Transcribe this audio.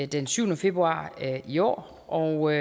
den syvende februar i år og